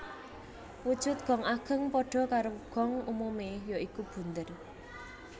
Wujud gong ageng padha karo gong umume ya iku bunder